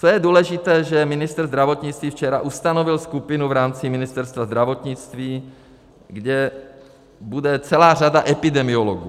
Co je důležité, že ministr zdravotnictví včera ustanovil skupinu v rámci Ministerstva zdravotnictví, kde bude celá řada epidemiologů.